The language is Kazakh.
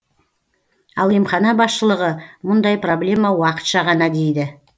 ал емхана басшылығы мұндай проблема уақытша ғана дейді